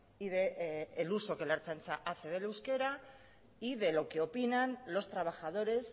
y del uso que la ertzaintza hace del euskera y de lo que opinan los trabajadores